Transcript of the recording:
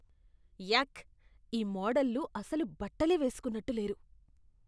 యాక్! ఈ మోడల్లు అసలు బట్టలే వేస్కున్నట్టు లేరు.